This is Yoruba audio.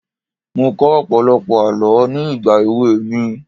Mo kọ́ ọ̀pọ̀lọpọ̀ àọ́ ní ìgbà èwe mi.